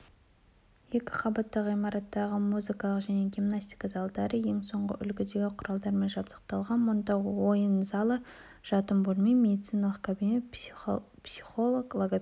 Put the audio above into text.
екі қабатты ғимараттағы муызкалық және гиманстика залдары ең соңғы үлгідегі құралдармен жабдықталған мұнда ойын залы жатын бөлме медициналық кабинет психолог логопед